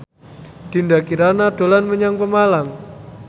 Dinda Kirana dolan menyang Pemalang